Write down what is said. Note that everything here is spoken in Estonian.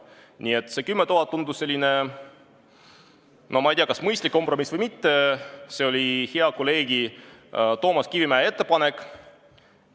Nii et see 10 000 eurot tundus selline, no ma ei tea, kas mõistlik kompromiss või mitte – see oli hea kolleegi Toomas Kivimägi ettepanek.